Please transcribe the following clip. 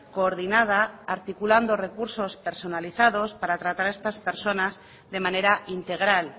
coordinada articulando recursos personalizados para tratar a estas personas de manera integral